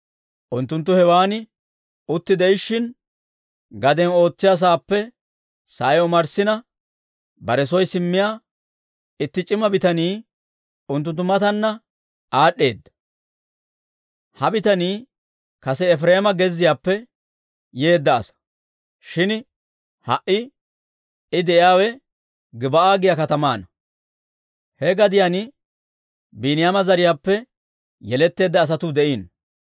Unttunttu hewan utti de'ishshin, gaden ootsiyaa saappe sa'ay omarssina, bare soy simmiyaa itti c'ima bitanii unttunttu mataanna aad'd'eedda. Ha bitanii kase Efireema gezziyaappe yeedda asa; shin ha"i I de'iyaawe Gib'aa giyaa katamaana; he gadiyaan Biiniyaama zariyaappe yeletteedda asatuu de'iino.